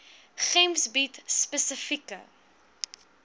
gems bied spesifieke